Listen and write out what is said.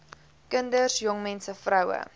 kinders jongmense vroue